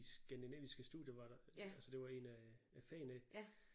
I skandinaviske studier var der altså det var en af øh fagene ikke